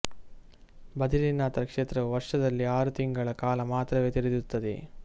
ಬದರಿನಾಥ ಕ್ಷೇತ್ರವು ವರ್ಷದಲ್ಲಿ ಆರು ತಿಂಗಳ ಕಾಲ ಮಾತ್ರವೇ ತೆರೆದಿರುತ್ತದೆ